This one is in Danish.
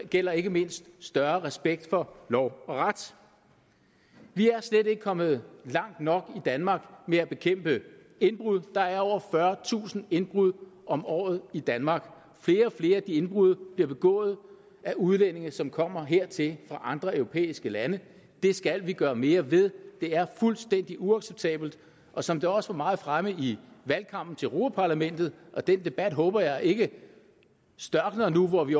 gælder ikke mindst større respekt for lov og ret vi er slet ikke kommet langt nok i danmark med at bekæmpe indbrud der er over fyrretusind indbrud om året i danmark flere og flere af de indbrud bliver begået af udlændinge som kommer hertil fra andre europæiske lande det skal vi gøre mere ved det er fuldstændig uacceptabelt og som det også var meget fremme i valgkampen til europa parlamentet og den debat håber jeg ikke størkner nu hvor vi